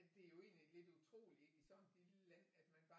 Det er jo egentlig lidt utroligt ikke i sådan et lille land at man